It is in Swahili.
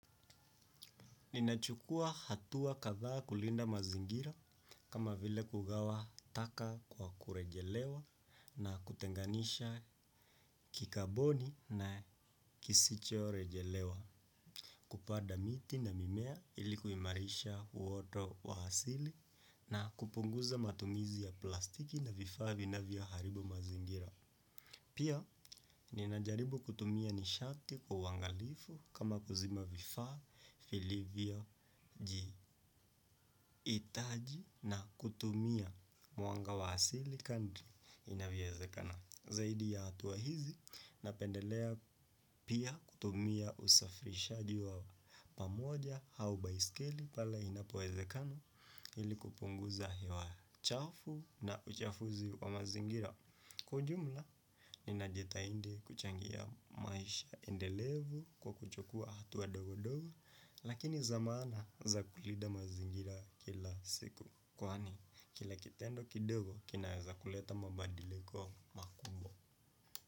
Ninachukua hatua kadhaa kulinda mazingira kama vile kugawa taka kwa kurejelewa na kutenganisha kikaboni na kisichorejelewa. Kupanda miti na mimea ili kuimarisha uoto wa asili na kupunguza matumizi ya plastiki na vifaa vinavyoharibu mazingira. Pia, ninajaribu kutumia nishati kwa uangalifu kama kuzima vifaa vilivioji Itaji na kutumia mwanga wa asili kadri inavyowezekana. Zaidi ya hatua hizi na pendelea pia kutumia usafirishaji wa pamoja au baiskeli pale inapowezekana ili kupunguza hewa chafu na uchafuzi wa mazingira kwa ujumla ninajitahidi kuchangia maisha endelevu kwa kuchukua hatua ndogo ndogo lakini za maana za kulinda mazingira kila siku kwani kila kitendo kidogo kinaeza kuleta mabadiliko makubwa.